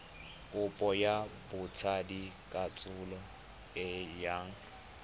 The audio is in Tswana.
kopo ya botsadikatsholo e yang